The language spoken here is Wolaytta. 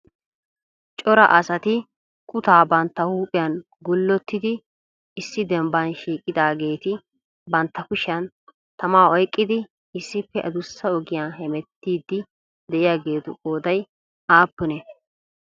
cora asati kutaa bantta huuphiyan gullotidi issi dembban shiiqidaageeti bantta kushiyaan tamaa oyqqidi issippe addussa ogiyaa hemettiidi de'iyaagetu qooday aappunne?